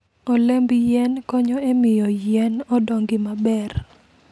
Olemb yien konyo e miyo yien odongi maber.